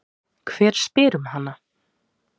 Hver spyr um hana?